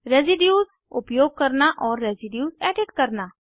residues उपयोग करना और रेसीड्यूज़ एडिट करना